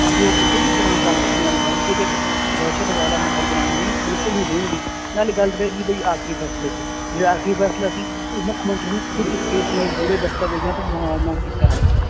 ਕਿ ਉਹ ਕਿਸੇ ਵੀ ਤਰ੍ਹਾਂ ਕਾਂਗਰਸੀਆਂ ਨੂੰ ਹਲਕੇ ਤੇ ਦ~ ਦਹਿਸ਼ਤ ਵਾਲਾ ਮਾਹੌਲ ਬਣਾਉਣ ਨਹੀਂ, ਬਿਲਕੁਲ ਨਹੀਂ ਦੇਣਗੇ ਨਾਲੇ ਗੱਲ ਤੇ ਪੈ ਗਈ ਵੀ ਆਖ਼ਰੀ ਫੈਸਲੇ ਤੇ, ਜਿਹੜਾ ਆਖ਼ਰੀ ਫੈਸਲਾ ਸੀ ਉਹ ਮੁੱਖ ਮੰਤਰੀ ਨੇ ਖੁੱਦ ਇਸ case ਨਾਲ ਜੁੜੇ ਦਸਤਾਵੇਜ਼ਾਂ ਤੋਂ ਮੁਆਨਾ ਕੀਤਾ ਹੈ,